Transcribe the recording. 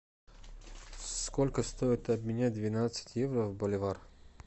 сколько стоит обменять двенадцать евро в боливар